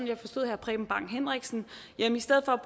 jeg forstod herre preben bang henriksen i stedet for